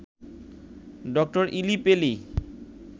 doctor ইলি পেলি